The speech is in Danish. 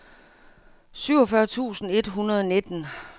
syvogfyrre tusind et hundrede og nitten